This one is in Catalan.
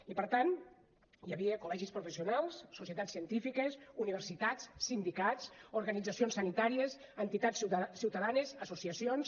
i per tant hi havia col·legis professionals societats científiques universitats sindicats organitzacions sanitàries entitats ciutadanes associacions